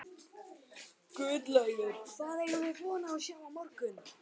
Guðlaugur, hvað eigum við von á að sjá á morgun?